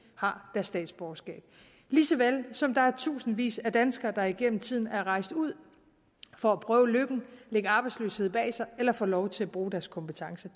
har deres statsborgerskab lige så vel som der er tusindvis af danskere der igennem tiden er rejst ud for at prøve lykken lægge arbejdsløshed bag sig eller få lov til at bruge deres kompetence